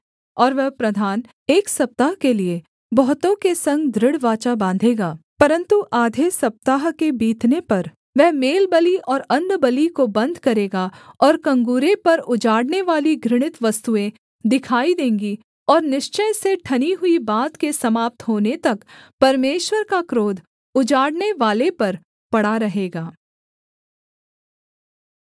और वह प्रधान एक सप्ताह के लिये बहुतों के संग दृढ़ वाचा बाँधेगा परन्तु आधे सप्ताह के बीतने पर वह मेलबलि और अन्नबलि को बन्द करेगा और कंगूरे पर उजाड़नेवाली घृणित वस्तुएँ दिखाई देंगी और निश्चय से ठनी हुई बात के समाप्त होने तक परमेश्वर का क्रोध उजाड़नेवाले पर पड़ा रहेगा